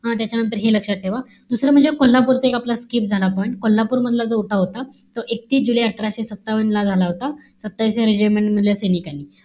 हा त्याच्यानंतर हे लक्षात ठेवा. दुसरं म्हणजे कोल्हापूर तो एक skip झाला आपला point. कोल्हापूरमधला जो उठाव होता. तो एकतीस जुलै अठराशे सत्तावन्न ला झाला होता. regiment मधल्या सैनिकांनी.